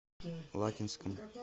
лакинском